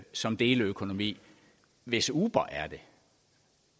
som deleøkonomi hvis uber er det